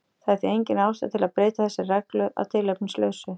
Það er því engin ástæða til að breyta þessari reglu að tilefnislausu.